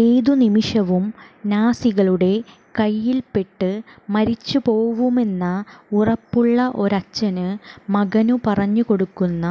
ഏതു നിമിഷവും നാസികളുടെ കൈയില്പെട്ട് മരിച്ചുപോവുമെന്ന് ഉറപ്പുള്ള ഒരച്ഛന് മകനു പറഞ്ഞുകൊടുക്കുന്ന